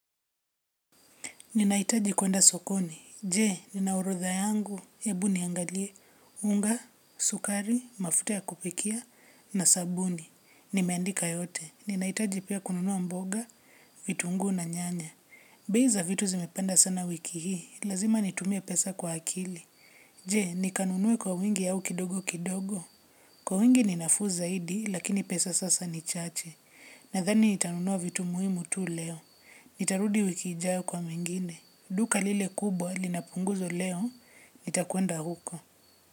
Ninaitaji kwenda sokoni. Je, nina orotha yangu. Ebu niangalie. Unga, sukari, mafuta ya kupikia, na sabuni. Nimeandika yote. Ninaitaji pia kununua mboga, vitunguu na nyanya. Bei za vitu zimepanda sana wiki hii. Lazima nitumie pesa kwa akili. Je, nikanunue kwa wingi ao kidogo kidogo. Kwa wingi ninafuu zaidi, lakini pesa sasa ni chache. Nathani nitanunua vitu muhimu tu leo. Nitarudi wiki ijayo kwa mengine. Duka lile kubwa linapunguzo leo, nitakuenda huko.